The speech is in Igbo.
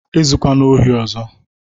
Ezukwana ori ọzọ!